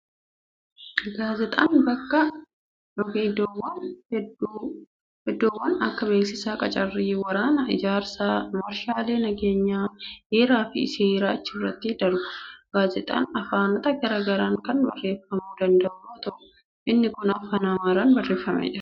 Gaazexaan madda Odeeffannoo hedduuti. Oduuwwan akka beeksisa qacarrii, waraanaa, ijaarsa waarshaalee, nageenyaa, heeraa fi seeraa achirratti darbu. Gaazexaan afaanota garaa garaan kan barreeffamuu danda'u yoo ta'u, inni kun afaan Amaaraan barreeffamee jira.